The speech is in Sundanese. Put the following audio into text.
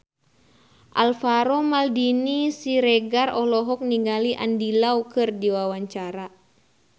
Alvaro Maldini Siregar olohok ningali Andy Lau keur diwawancara